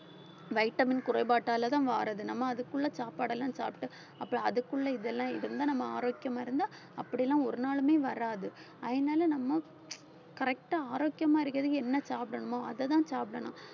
vitamin குறைபாட்டாலதான் வருது நம்ம அதுக்குள்ள சாப்பாடெல்லாம் சாப்பிட்டு அப்ப அதுக்குள்ள இதெல்லாம் இருந்தா நம்ம ஆரோக்கியமா இருந்தா அப்படியெல்லாம் ஒரு நாளுமே வராது அதனால நம்ம correct ஆ ஆரோக்கியமா இருக்கிறதுக்கு என்ன சாப்பிடணுமோ அதைதான் சாப்பிடணும்